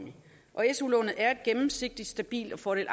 sit studieforløb